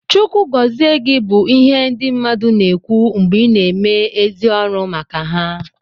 Chukwu gọzi gị bụ ihe ndị mmadụ na-ekwu mgbe ị na-eme ezi ọrụ maka ha